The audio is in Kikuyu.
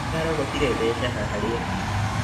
Ndĩrarogotire mbeca harĩa